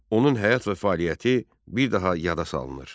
Onun həyat və fəaliyyəti bir daha yada salınır.